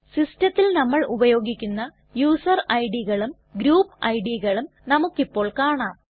സിസ്റ്റത്തിൽ നമ്മൾ ഉപയോഗിക്കുന്ന യൂസർ IDകളും ഗ്രൂപ്പ് IDകളും നമുക്കിപ്പോൾ കാണാം